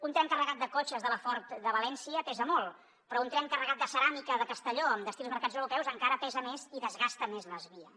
un tren carregat de cotxes de la ford de valència pesa molt però un tren carregat de ceràmica de castelló amb destí als mercats europeus encara pesa més i desgasta més les vies